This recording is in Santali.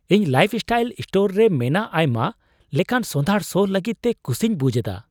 ᱤᱧ ᱞᱟᱭᱤᱯᱷᱥᱴᱟᱭᱤᱞ ᱥᱴᱳᱨ ᱨᱮ ᱢᱮᱱᱟᱜ ᱟᱭᱢᱟ ᱞᱮᱠᱟᱱ ᱥᱚᱸᱫᱷᱟᱲ ᱥᱚ ᱞᱟᱹᱜᱤᱫᱛᱮ ᱠᱩᱥᱤᱧ ᱵᱩᱡᱷ ᱮᱫᱟ ᱾